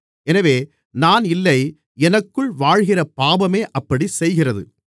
எனவே நான் இல்லை எனக்குள் வாழ்கிற பாவமே அப்படிச் செய்கிறது